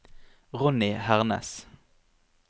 Ronny Hernes